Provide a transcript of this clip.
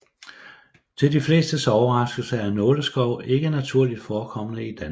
Til de flestes overraskelse er nåleskov ikke naturligt forekommende i Danmark